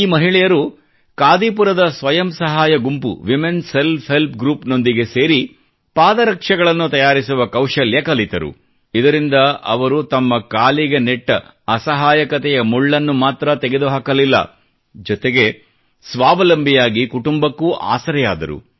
ಈ ಮಹಿಳೆಯರು ಕಾದಿಪುರದ ಸ್ವಯಂ ಸಹಾಯ ಗುಂಪು ವುಮೆನ್ ಸೆಲ್ಫ್ ಹೆಲ್ಪ್ ಗ್ರೂಪ್ ನೊಂದಿಗೆ ಸೇರಿ ಪಾದರಕ್ಷೆಗಳನ್ನು ತಯಾರಿಸುವ ಕೌಶಲ್ಯ ಕಲಿತರು ಇದರಿಂದ ಅವರು ತಮ್ಮ ಕಾಲಿಗೆ ನೆಟ್ಟ ಅಸಹಾಯಕತೆಯ ಮುಳ್ಳನ್ನು ಮಾತ್ರ ತೆಗೆದುಹಾಕಲಿಲ್ಲ ಜೊತೆಗೆ ಸ್ವಾವಲಂಬಿಯಾಗಿ ಕುಟುಂಬಕ್ಕೂ ಆಸರೆಯಾದರು